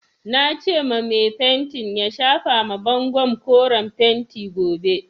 Nace ma mai fentin ya shafa ma bangon koren fentin gobe.